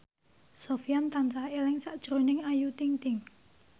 Sofyan tansah eling sakjroning Ayu Ting ting